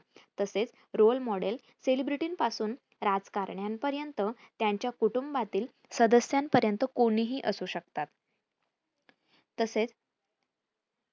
तसेच role model celebrity राजकारण्यांपर्यंत त्यांच्या कुटूंबातील सदस्यांपर्यंत कोणीही असू शकतात तसेच